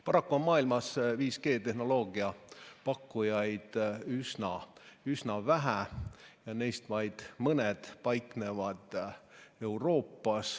Paraku on maailmas 5G tehnoloogia pakkujaid üsna vähe ja neist vaid mõned paiknevad Euroopas.